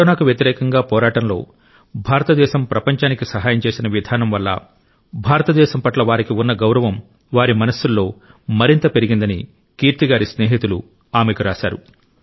కరోనాకు వ్యతిరేకంగా పోరాటంలో భారతదేశం ప్రపంచానికి సహాయం చేసిన విధానం వల్ల భారతదేశం పట్ల వారికి ఉన్న గౌరవం వారి మనస్సుల్లో మరింతగా పెరిగిందని కీర్తి గారి స్నేహితులు ఆమెకు రాశారు